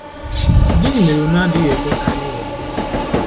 Gịnị mere unu adịghị ekwe ka e ghọgbuo unu? ”